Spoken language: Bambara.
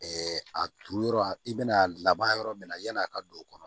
a turu yɔrɔ i bɛna laban yɔrɔ min na yani a ka don o kɔnɔ